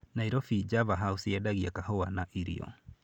Nairobi Java House yendagia kahũa na irio.